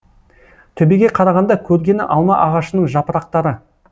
төбеге қарағанда көргені алма ағашының жапырақтары